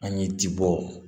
An ye ji bɔ